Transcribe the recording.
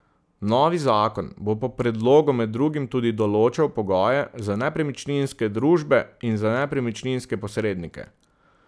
Novi zakon bo po predlogu med drugim tudi določal pogoje za nepremičninske družbe in za nepremičninske posrednike.